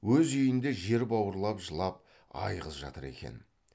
өз үйінде жер бауырлап жылап айғыз жатыр екен